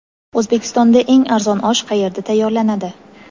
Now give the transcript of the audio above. O‘zbekistonda eng arzon osh qayerda tayyorlanadi?.